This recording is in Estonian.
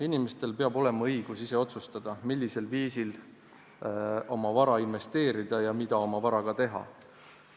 Inimestel peab olema õigus ise otsustada, millisel viisil oma vara investeerida ja mida oma varaga teha.